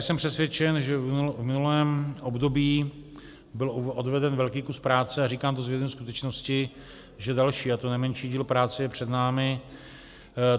Jsem přesvědčen, že v minulém období byl odveden velký kus práce, a říkám to s vědomím skutečnosti, že další, a to nemenší díl práce je před námi.